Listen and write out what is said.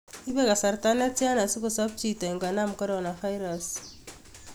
Ipe kasarta netyan asikosop chito ingonam coronavirus